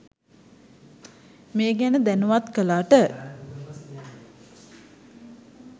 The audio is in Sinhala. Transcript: මේ ගැන දැනුවත් කළාට.